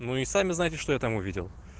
ну и сами знаете что я там увидел